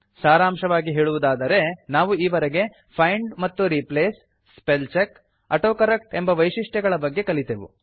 ಸಾರಾಂಶವಾಗಿ ಹೇಳುವುದಾದರೆ ನಾವು ಈವರೆಗೆ ಫೈಂಡ್ ಮತ್ತು replace spell check auto correct ಎಂಬ ವೈಶಿಷ್ಟ್ಯಗಳ ಬಗ್ಗೆ ಕಲಿತೆವು